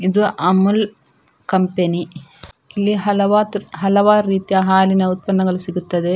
ಇದು ಅಮುಲ್ ಕಂಪೆನಿ ಇಲ್ಲಿ ಹಲವಾತು ಹಲವಾರು ರೀತಿಯ ಹಾಲಿನ ಉತ್ಪನ್ನಗಳು ಸಿಗುತ್ತದೆ.